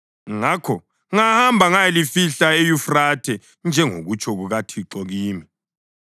Ngakho ngahamba ngayalifihla eYufrathe, njengokutsho kukaThixo kimi.